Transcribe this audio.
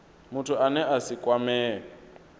muthu ane a si kwamee